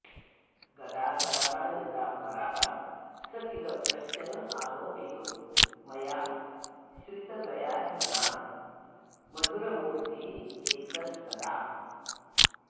गदाधर यदा परः स किल कश्चनालोकितो मया श्रितगयाध्वना मधुरमूर्तिरेकस्तदा